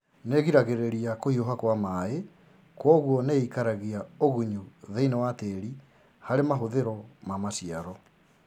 Nĩgiragĩrĩria kũhiuha Kwa maĩ kwoguo nĩikaragia ũgunyu thĩinĩ wa tĩri harĩ mahũthĩro ma maciaro